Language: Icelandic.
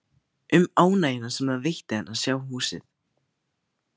Um ánægjuna sem það veitti henni að sjá húsið.